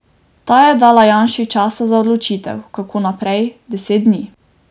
Ta je dala Janši časa za odločitev, kako naprej, deset dni.